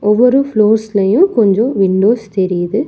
ஒவ்வொரு ஃப்ளோர்ஸ் லயு கொஞ்சோ விண்டோஸ் தெரியுது.